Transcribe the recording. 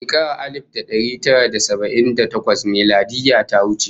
Shekarar alif da dari tara da saba'in da takwas miladiyya ta wuce